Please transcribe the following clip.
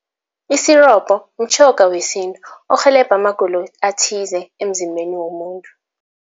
Isirobho mtjhoga wesintu orhelebha amagulo athize emzimbeni womuntu.